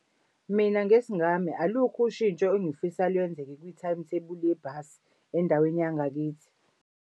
Mina ngesingami alukho ushintsho engifisa lwenzeka kwi-timetable yebhasi endaweni yangakithi.